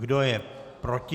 Kdo je proti?